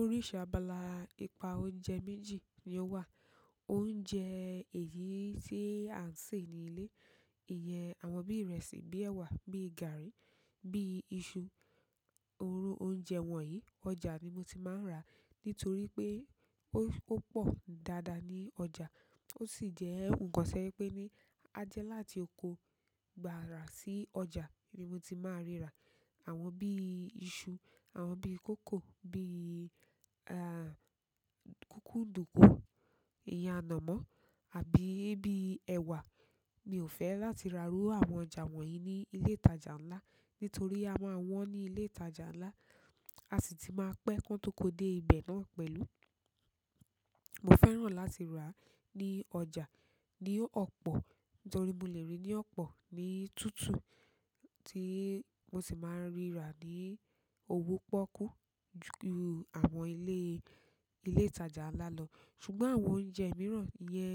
Oríṣi abala ìpa oúnjẹ méjì ni ó wà. Oúnjẹ èyí tí à ń sè ní ilé, ìyẹn àwọn bíi ìrẹsì, bíi ẹ̀wà, bíi gààrí, bíi iṣu, òróró oúnjẹ wọ̀nyí ọjà ni mo ti máa ń rà nítorí pé ó pọ̀ dáadáa ní ọjà. Ó sì jẹ́ nǹkan to jẹ́ pé ní a jẹ́ láti oko gbàrà sí ọjà ni mo ti máa ríra. Àwọn bíi iṣu, àwọn bíi kókò, bíi, kukunduku, ìyen ànámọ́ àbí bíi ẹ̀wà mi ò fẹ́ láti rà rú àwọn ọjà wọ̀nyí ní ilé ìtajà ńlá nítorí a máa wọn ní ilé ìtajà ńlá, a sì tun máa pẹ́ kan tó kó dé ibẹ̀ náà pẹ̀lú. Mo fẹ́ràn láti rà á ní ọjà, ní ọ̀pọ̀, nítorí mo lè ríi ní ọ̀pọ̀, ní tútù tí mo sì má a ríra ní owó poọ́kú ju àwọn ilé, ilé ìtajà ńlá lọ. Ṣùgbọ́n àwọn oúnjẹ mìíràn yẹn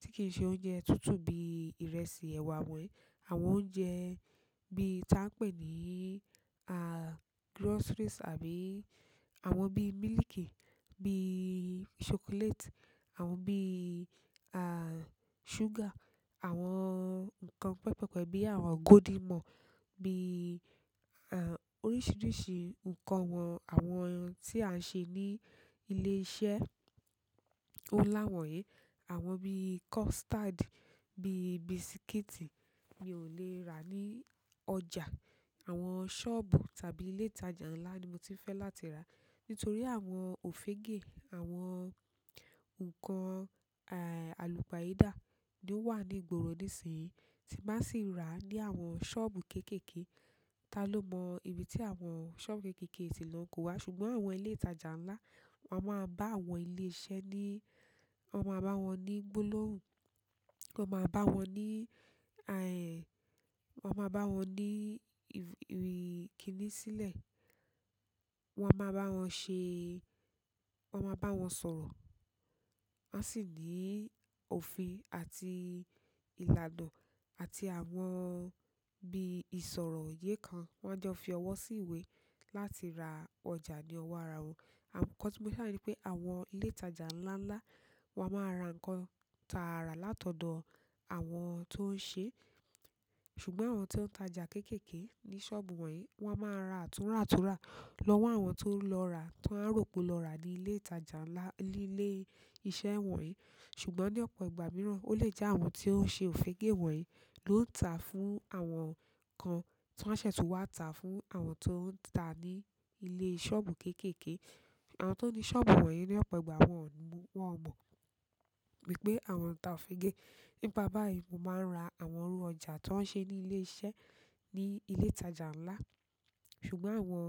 tí kì í ṣe oúnjẹ tútù bíi ìrẹsì, ẹ̀wà wọ̀nyí, àwọn oúnjẹ bí i ta n pẹ́ ní, groceries àbí àwọn bíí mílìkì, bíí ṣokoléètì, àwọn bíi, ṣúgà, àwọn ǹkan pẹpẹpẹ bí àwọn golden morn, bíi, oríṣiríṣi ǹkan wọn-- àwọn ohun tí à ń ṣe ní ilé iṣẹ́ ó láwọn yìí, àwọn bíi kọ́sítádì, bíi bisikíìtì mi ò lè rà ní ọjà. Àwọn soobu tàbí ile ìtajà ńlá ni mo ti n fe láti ra, nítorí àwọn ofege, àwọn nǹkan alupayida lo wani ìgboro ninsiyi ti n ba si ra ni àwọn soobu kekeeke, ta ló mọ́ ibi tí àwọn ṣọ́ọ̀bù kékèèké tì lọ n kó wá? Ṣùgbọ́n àwọn ilé ìtajà ńlá, wọ́n a máa bá àwọn ilé iṣẹ́ ní, wọ́n a máa bá wọn ní gbólóhùn, wọ́n a máa bá wọn ní, wọ́n máa bá wọn ní if--i kíni sílẹ̀, wọ́n máa bá wọn ṣe, wọ́n a máa bá wọn sọ̀rọ̀. Wọ́n a sì ní òfin àti ìlànà àti àwọn bíi ìṣòroyé kan. Wọ́n a jẹ́ fi ọwọ́ síwé láti ra ọjà ní ọwọ́ ara wọn. Àwọn nkan tí mo fẹ́ sọ ni pé àwọn ilé ìtajà ńlá ńlá wọ́n a máa ra ǹkan taarà látọ̀dọ̀ àwọn tó ń ṣe. Ṣùgbọ́n àwọn tó ń tajà kékèèké ní ṣọ́ọ̀bù wọ̀nyí, wọ́n a máa ra àtúràtúrà lọ́wọ́ àwọn tó lọ rà, tan a ró pe lọ rà ní ilé ìtajà ńlá, ní ilé iṣẹ́ wọ̀nyí. Ṣùgbọ́n ní ọ̀pọ̀ ìgbà mìíràn ó lè jẹ́ àwọn tí ó ń ṣe òfége wọ̀nyí ló ń tà á fún àwọn kan tan a ṣẹ̀ tun wá tà á fún àwọn tó ń tà ní ilé ṣọ́ọ̀bù kékèèké. Àwọn tó ní ṣọ́ọ̀bù wọ̀nyí ní ọ̀pọ̀ ìgbà, wọn ò mu, won o mọ̀ wípé àwọn n tà òfége. Nípa báyìí mo máa ń ra àwọn orú ọjà tan ń ṣe ní ilé iṣẹ́ ní ilé ìtajà ńlá. Ṣùgbọ́n àwọn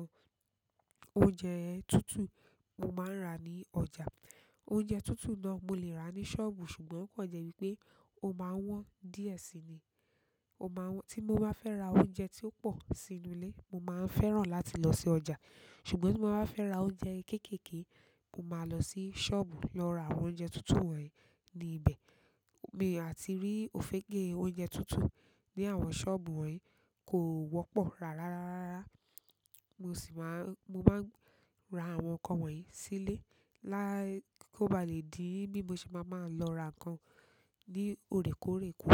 oúnjẹ tútù mo máa ń rà ní ọjà. Bo je tutu náà, mo le ra ni soobu ṣùgbọ́n, o kan je wípé, o maa n won díẹ̀ si ni. Ó máa n wọ́n, tí mo bá fẹ́ ra oúnjẹ tí ó pọ̀ sínú ilé, mo máa ń fẹ́ràn láti lọ sí ọjà. Ṣùgbọ́n tí mo bá fẹ́ ra oúnjẹ kékèèké, mo máa lọ sí ṣọ́ọ̀bù lọ ra àwọn oúnjẹ tútù wọ̀nyí ní ibẹ̀. Mi àti rí òfége oúnjẹ tútù ní àwọn ṣọ́ọ̀bù wọ̀nyí kò wọ́pọ̀ rárá, rárárara. Mo sì máa ń, mo máa ń rà àwọn nǹkan wọ̀nyí sílé lá, kó ba lè di bí mo ṣe máa máa lọ ra nǹkan ní òrékoórè kù.